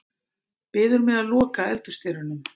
Biður mig að loka eldhúsdyrunum.